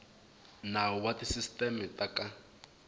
nawu wa tisisiteme ta ka